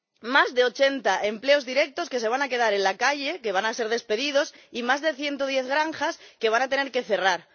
Más de 80 trabajadores que se van a quedar en la calle, que van a ser despedidos y más de 110 granjas que van a tener que cerrar.